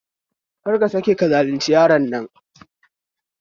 Kar ka sake ka zalunci yaron nan